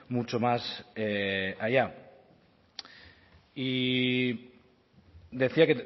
mucho más allá y decía